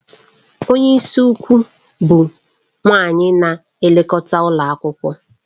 Onye isi ukwu bụ nwanyị na-elekọta ụlọ akwụkwọ.